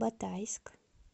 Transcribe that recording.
батайск